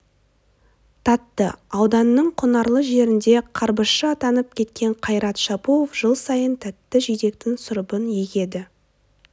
татты ауданның құнарлы жерінде қарбызшы атанып кеткен қайрат шапуов жыл сайын тәтті жидектің сұрыбын егеді